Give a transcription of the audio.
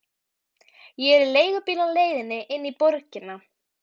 Ég er í leigubíl á leiðinni inn í borgina.